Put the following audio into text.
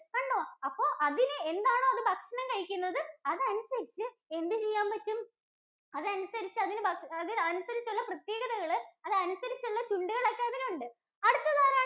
കണ്ടോ അപ്പൊ അതിന് എന്താണോ അത് ഭക്ഷണം കഴിക്കുന്നത് അതനുസരിച്ച് എന്ത് ചെയ്യാൻ പറ്റും? അതനുസരിച്ച് ഉള്ള പ്രത്യേകതകൾ അതനുസരിച്ചു ഉള്ള ചുണ്ടുകൾ ഒക്കെ അതിനുണ്ട്. അടുത്തതാരാണ്?